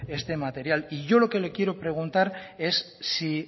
este material y yo lo que le quiero preguntar es si